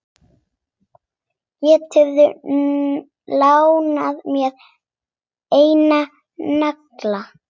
Geturðu lánað mér einn nagla.